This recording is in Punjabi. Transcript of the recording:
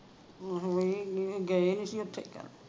ਆਹੋ ਇਹ ਗਏ ਨਹੀਂ ਸੀ ਓਥੇ ਤਾਂ